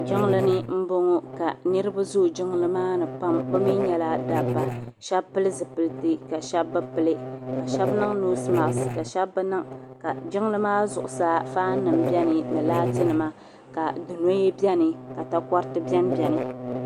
jiŋli ni n bɔŋɔ ka niraba zooi jiŋli maa ni pam bi mii nyɛla dabba shab pili zipiliti ka shab bi pili ka shab niŋ noos mask ka shab bi niŋ ka jiŋli maa zuɣusaa faan nim biɛni ni laati nima ka dunoya biɛni ka takoriti biɛni